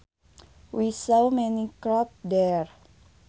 We saw many carp there